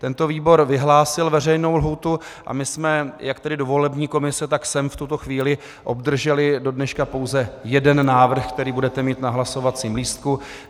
Tento výbor vyhlásil veřejnou lhůtu a my jsme jak tedy do volební komise, tak sem v tuto chvíli obdrželi do dneška pouze jeden návrh, který budete mít na hlasovacím lístku.